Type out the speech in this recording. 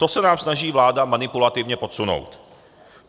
To se nám snaží vláda manipulativně podsunout.